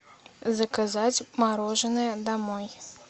заказать мороженое домой